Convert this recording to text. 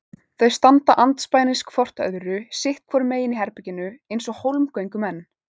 Þau standa andspænis hvort öðru sitt hvoru megin í herberginu eins og hólmgöngumenn.